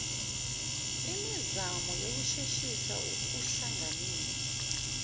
imizamo yokusheshisa ukuhlanganisa